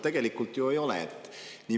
Tegelikult ju ei ole.